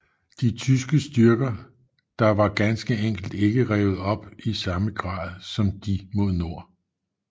De tyske styrker der var ganske enkelt ikke revet op i samme grad som de mod nord